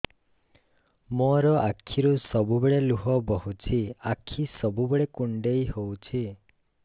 ମୋର ଆଖିରୁ ସବୁବେଳେ ଲୁହ ବୋହୁଛି ଆଖି ସବୁବେଳେ କୁଣ୍ଡେଇ ହଉଚି